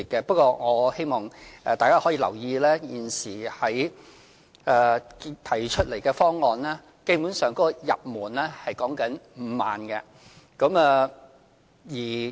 不過，我希望大家可以留意，現時提出的方案，基本的入門條件是5萬元。